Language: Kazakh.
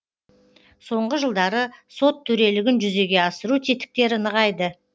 соңғы жылдары сот төрелігін жүзеге асыру тетіктері нығайды